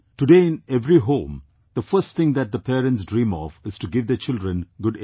Today in every home, the first thing that the parents dream of is to give their children good education